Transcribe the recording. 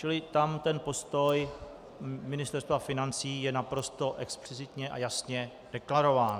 Čili tam ten postoj Ministerstva financí je naprosto explicitně a jasně deklarován.